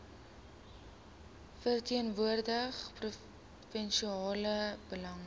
verteenwoordig provinsiale belange